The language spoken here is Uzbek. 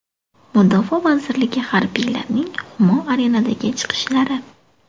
Mudofaa vazirligi harbiylarining Humo Arena’dagi chiqishlari.